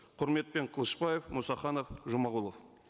құрметпен қылышбаев мұсаханов жұмағұлов